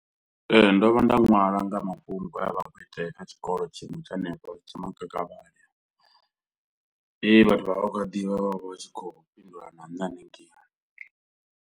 Ee, ndo vha nda ṅwala nga mafhungo e a vha a khou itea kha tshikolo tshiṅwe tsha hanefha tshe Makakavhavhe he vhathu vha vha vha khou a ḓivha vha vha vha tshi khou fhindula na nṋe hanengei.